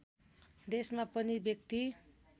देशमा प्रति व्यक्ति